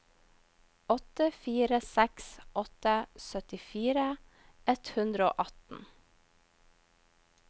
åtte fire seks åtte syttifire ett hundre og atten